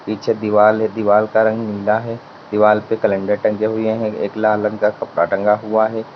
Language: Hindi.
पीछे दीवाल है। दीवाल का रंग नीला है। दीवाल पे कलेंडर टंगे हुये हैं। एक लाल रंग का कपड़ा टंगा हुआ है।